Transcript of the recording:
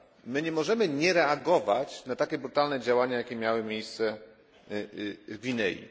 My nie możemy nie reagować na takie brutalne działania, jakie miały miejsce w Gwinei.